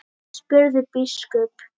spurði biskup.